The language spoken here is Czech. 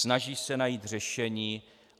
Snaží se najít řešení.